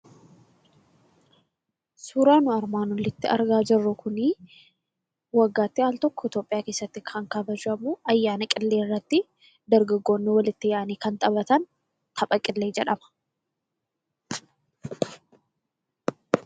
Suuraan nu armaan olitti argaa jirru kunii, waggaatti aal tokko, Itoopiyaa keesaatti kabajamuu ayyaana qilleerratti dargaggoonni walitti yaa'anii kan taphatan tapha qillee jedhama.